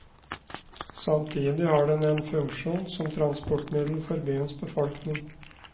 Samtidig har den en funksjon som transportmiddel for byens befolkning.